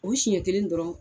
U siɲɛn kelen dɔrɔn